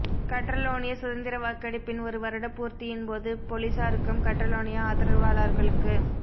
Catalonia சுதந்திர வாக்கெடுப்பின் ஒரு வருட பூர்த்தியின்போது பொலிஸாருக்கும் கற்றலோனிய ஆதரவாளர்களுக்கு